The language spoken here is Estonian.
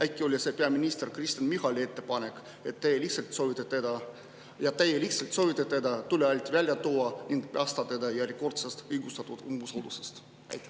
Äkki oli see peaminister Kristen Michali ettepanek ja te lihtsalt soovite teda tule alt välja tuua ning päästa teda järjekordsest õigustatud umbusaldus?